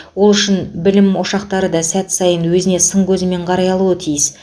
ол үшін білім ошақтары да сәт сайын өзіне сын көзімен қарай алуы тиіс